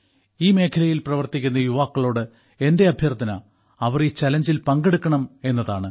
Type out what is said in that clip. ഈ മേഖലയിൽ പ്രവർത്തിക്കുന്ന യുവാക്കളോട് എന്റെ അഭ്യർത്ഥന അവർ ഈ ചലഞ്ചിൽ പങ്കെടുക്കണം എന്നതാണ്